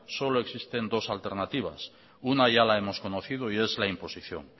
solo existen dos alternativas una ya la hemos conocido y es la imposición